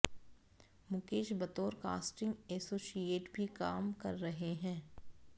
मुकेश बतौर casting associate भी काम कर रहे हैं